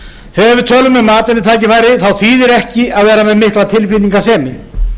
þegar við tölum um atvinnutækifærin þá þýðir ekki að vera með mikla tilfinningasemi